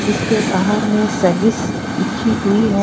जिसके बाहर में सर्विस लिखी हुई है.